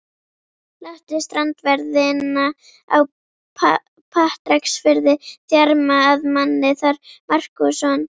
Láttu strandverðina á Patreksfirði þjarma að manni þar, Markússon.